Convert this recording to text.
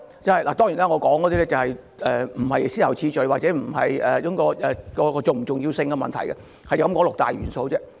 這些元素並非以先後次序或按其重要性排列，我只是提出有六大元素。